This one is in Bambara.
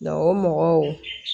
Nka o mɔgɔw